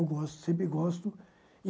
gosto, sempre gosto.